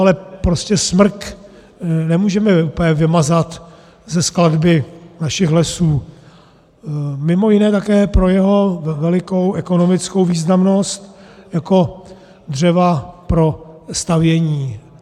Ale prostě smrk nemůžeme úplně vymazat ze skladby našich lesů mimo jiné také pro jeho velikou ekonomickou významnost jako dřeva pro stavění.